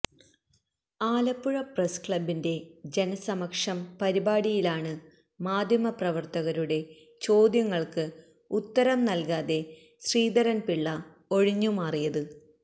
Alappuzha press ക്ലബിന്റെ ജനസമക്ഷം പരിപാടിയിലാണ് മാധ്യമ പ്രവര്ത്തകരുടെ ചോദ്യങ്ങള്ക്ക് ഉത്തരം നല്കാതെ ശ്രീധരന്പിള്ള ഒഴിഞ്ഞുമാറിയത്